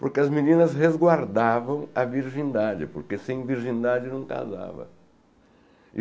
Porque as meninas resguardavam a virgindade, porque sem virgindade não casava.